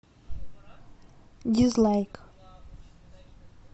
дизлайк